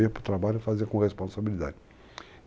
Eu ia para o trabalho e fazia com responsabilidade.